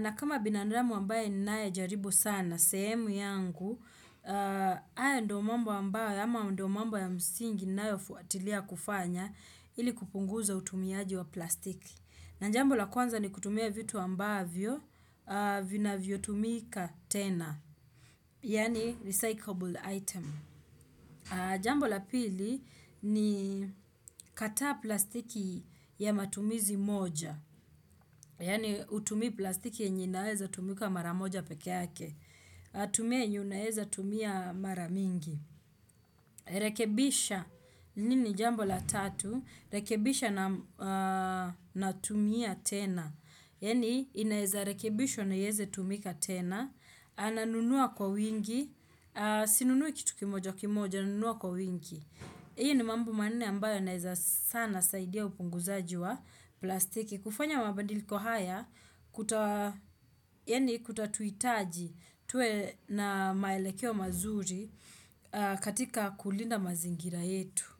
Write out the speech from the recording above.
Na kama binandamu ambaye ninaye jaribu sana, sehemu yangu, hayo ndio mamba ambayo ama ndio mambo ya msingi ninayo fuatilia kufanya ili kupunguza utumiaji wa plastiki. Na jambo la kwanza ni kutumia vitu ambavyo vinavyotumika tena, yani recyclable item. Jambo la pili ni kata plastiki ya matumizi moja. Yani hutumi plastiki yenye inaweza tumika mara moja pekee yake. Tumia yenye unaweza tumia mara mingi. Rekibisha hili ni jambo la tatu. Rekibisha na tumia tena. Yani inaweza rekebishwa na ieze tumika tena. Ananunua kwa wingi. Sinunui kitu kimoja kimoja nanunua kwa wingi. Hii ni mambo manne ambayo yanaweza sana saidia upunguzaji wa plastiki. Kufanya mabadiliko kuta yani kutatuhitaji tuwe na maelekeo mazuri katika kulinda mazingira yetu.